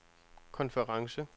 konference